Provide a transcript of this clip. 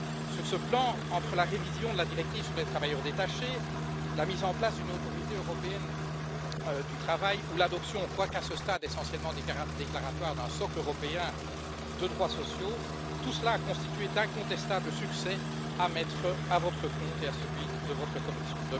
Sur ce plan, entre la révision de la directive sur les travailleurs détachés, la mise en place d'une autorité européenne du travail ou l'adoption quoique, à ce stade, essentiellement déclaratoire d'un socle européen de droits sociaux tout cela a constitué d'incontestables succès à mettre à votre compte et à celui de votre Commission.